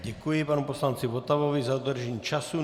Děkuji panu poslanci Votavovi za dodržení času.